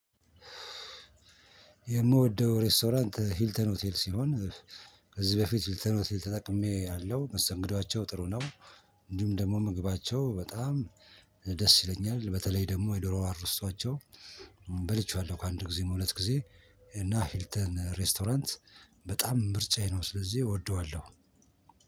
የምወደው ሬስቶራንት ሂልተን ሆቴል ሲሆን ከዚህ በፊት ሂልተን ሆቴል ተጠቅሜያለው መስተንግዶዋቸው ጥሩ ነው። እንዲሁም ደግሞ ምግባቸው በጣም ደስ ይለኛል በተለይ ደግሞ የዶሮ አሮስቶዋቸው። በልቼዋለሁ ከአንድ ጊዜም ሁለት ጊዜ። እና ሂልተን ሬስቶራንት በጣም ምርጫዬ ነው። ስለዚህ እወደዋለው።